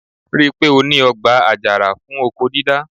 Ri pé ó ní ọgbà àjàrà fún oko dídá?